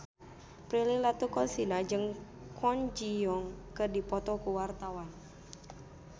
Prilly Latuconsina jeung Kwon Ji Yong keur dipoto ku wartawan